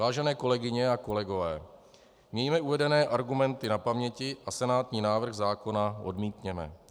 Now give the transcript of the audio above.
Vážené kolegyně a kolegové, mějme uvedené argumenty na paměti a senátní návrh zákona odmítněme.